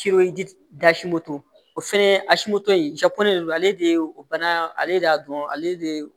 o fɛnɛ a si moto in ale de ye o bana ale de y'a dɔn ale de ye